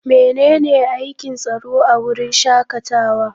Menene aikin tsaro a wurin shakatawa?